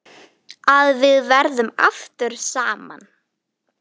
Að við verðum aftur saman.